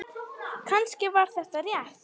Kannski var þetta rétt.